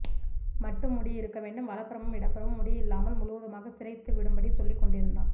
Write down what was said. மட்டும் முடி இருக்க வேண்டும் வலபுறமும் இடபுறமும் முடி இல்லாமல் முழுவதுமாக சிறைத்து விடும்படி சொல்லிக் கொண்டு இருந்தான்